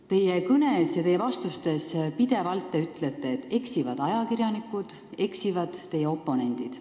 Te oma kõnes ja vastustes ütlete pidevalt, et eksivad ajakirjanikud ja eksivad teie oponendid.